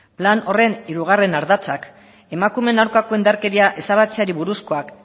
lan horren hirugarren ardatzak emakumeen aurkako indarkeria ezabatzeari buruzkoak